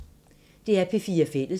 DR P4 Fælles